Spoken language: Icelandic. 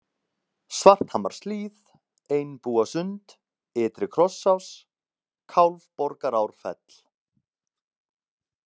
Svarthamarshlíð, Einbúasund, Ytri-Krossás, Kálfborgarárfell